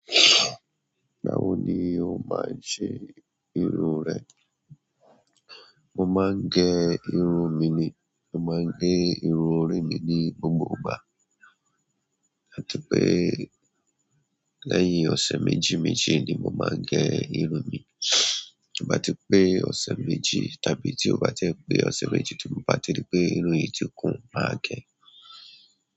Báwo ni o máa ń ṣe irun rẹ? Mo máa ń gẹ irun mi ni. Mo máa gẹ irun orí mi ní gbogbo ìgbà. Àti pé lẹ́yìn ọ̀sẹ̀ méjì-méjì ni mo máa ń gé irun mi. Tó bá ti pé ọ̀sẹ̀ méjì, tàbí tí ó bá ti ń pé ọ̀sẹ̀ méjì, tí mo bá ti rí pé irun yìí ti kún, màá gé e.